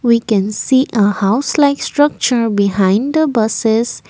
we can see a house like structure behind the buses.